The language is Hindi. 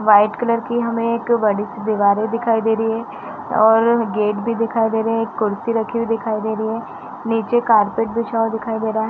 वाइट कलर की हमें एक बडी-सी दिवार दिखाई दे रही है और गेट भी दिखाई दे रहा है। एक कुर्सी रखी हुवी दिखाई दे रही है। नीचे कारपेट बिछाया हुवा दिखाई दे रहा है।